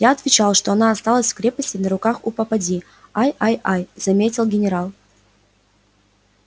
я отвечал что она осталась в крепости на руках у попадьи ай ай ай заметил генерал